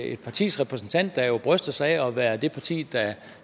et partis repræsentant der jo bryster sig af at være i det parti